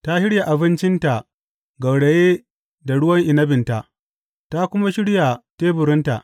Ta shirya abincinta gauraye da ruwan inabinta; ta kuma shirya teburinta.